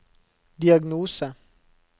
diagnose